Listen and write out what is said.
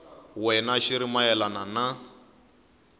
wena xi ri mayelana na